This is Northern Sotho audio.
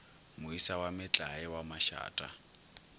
moisa wa metlae wa mašata